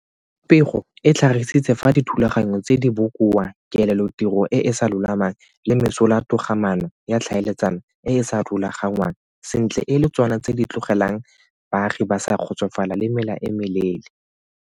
Pego e tlhagisitse fa dithulaganyo tse di bokoa, kelelotiro e e sa lolamang le mesolatogamaano ya tlhaeletsano e e sa rulagangwang sentle e le tsona tse di tlogelang baagi ba sa kgotsofala le mela e meleele.